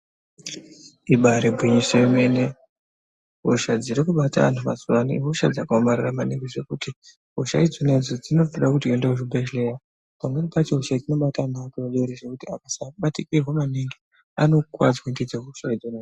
Ibaari gwinyiso yemene, hosha dziri kubata antu mazuwaano ihosha dzakaomarara maningi, zvekuti hosha idzona idzodzo, dzinofane kuti uende kuchibhedhleya. Pamweni pacho hosha dzinobata ana adodori zvekuti akasabatikirwa maningi anokuwadzwa ndidzo hosha idzona.